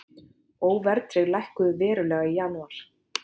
Óverðtryggð lækkuðu verulega í janúar